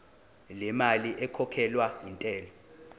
lemali ekhokhelwa intela